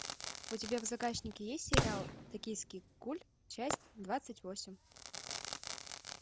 у тебя в загашнике есть сериал токийский гуль часть двадцать восемь